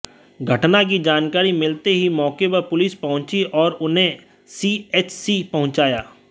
घटना की जानकारी मिलते ही मौके पर पुलिस पहुंची और उन्हें सीएचसी पहुंचाया